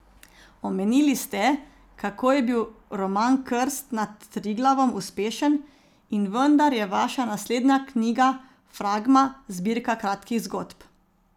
Omenili ste, kako je bil roman Krst nad Triglavom uspešen, in vendar je vaša naslednja knjiga, Fragma, zbirka kratkih zgodb.